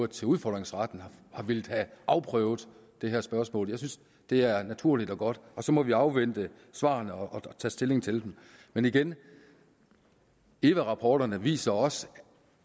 til udfordringsretten har villet have afprøvet det her spørgsmål jeg synes det er naturligt og godt og så må vi afvente svarene og tage stilling til dem men igen eva rapporterne viser også